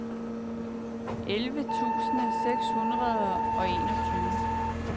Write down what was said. elleve tusind seks hundrede og enogtyve